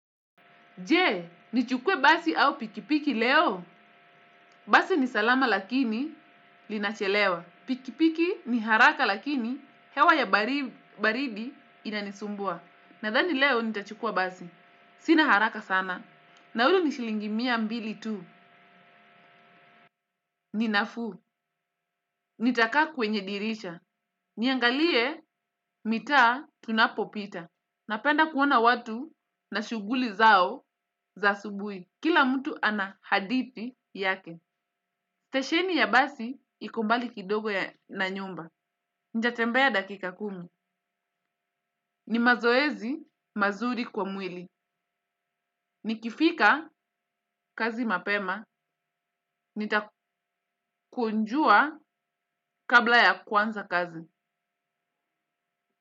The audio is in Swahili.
Jee, nichukue basi au pikipiki leo. Basi ni salama lakini linachelewa. Pikipiki ni haraka lakini hewa ya baridi inanisumbua. Nadhani leo nitachukua basi. Sina haraka sana. Naulu ni shilingi mia mbili tu. Ninafuu. Nitakaa kwenye dirisha. Niangalie mitaa tunapopita. Napenda kuona watu na shughuli zao za subuhi. Kila mtu ana hadithi yake. Stesheni ya basi iko mbali kidogo na nyumba. Nitatembea dakika kumi. Ni mazoezi mazuri kwa mwili. Nikifika kazi mapema. Nitakunjua kabla ya kwanza kazi.